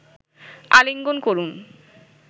আলিঙ্গন করুন